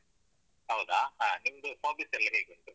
ಹೌದಾ ಹ ನಿಮ್ದು hobbies ಎಲ್ಲ ಹೇಗುಂಟು?